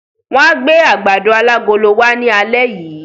Wọ́n á gbé àgbàdo alágolo wá ní alẹ́ yìí.